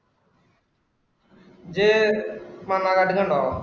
ഇജ്ജ് മണ്ണാകാട്ടിലുണ്ടോ?